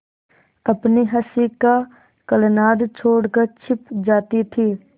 अपनी हँसी का कलनाद छोड़कर छिप जाती थीं